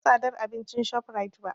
Ban ga tsadar abincin ShopRite ba.